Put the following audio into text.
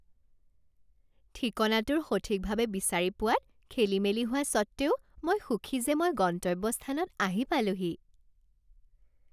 ঠিকনাটোৰ সঠিকভাৱে বিচাৰি পোৱাত খেলিমেলি হোৱা সত্ত্বেও মই সুখী যে মই গন্তব্যস্থানত আহি পালোহি৷